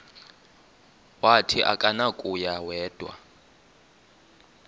wathi akunakuya wedw